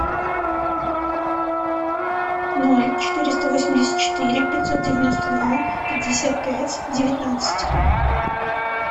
ноль четыреста восемьдесят четыре пятьсот девяносто два пятьдесят пять девятнадцать